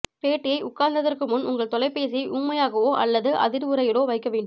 பேட்டியை உட்கார்ந்ததற்கு முன் உங்கள் தொலைபேசியை ஊமையாகவோ அல்லது அதிர்வுறையிலோ வைக்க வேண்டும்